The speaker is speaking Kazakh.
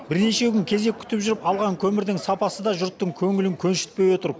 бірнеше күн кезек күтіп жүріп алған көмірдің сапасы да жұрттың көңілін көншітпей отыр